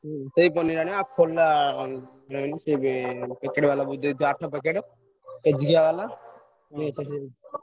ହଁ ହଁ ସେଇ ପନିରୀ ଆଣିବ ଆଉ ଠୋଲା ନେଇଆସିବ।